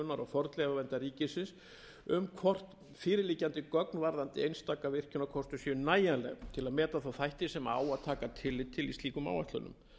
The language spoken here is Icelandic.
fornleifaverndar ríkisins um hvort fyrirliggjandi gögn varðandi einstaka virkjunarkosti séu nægjanleg til að meta þá þætti sem á að taka tillit til í slíkum áætlunum